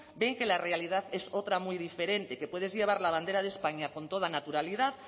ven que la realidad es otra muy diferente que puedes llevar la bandera de españa con toda naturalidad